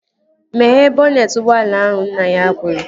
Meghee bọnetị ụgbọala ahụ! Nna ya kwuru